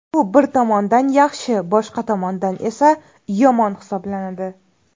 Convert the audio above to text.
Bu bir tomondan yaxshi, boshqa tomondan esa yomon hisoblanadi.